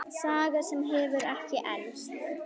Saga sem hefur ekki elst.